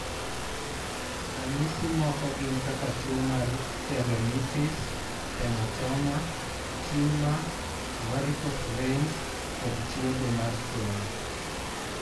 Ranyisi moko gin kaka tuwo mar tendonitis, hematoma, tumor, varicose veins, kod chwodho mar fuoni.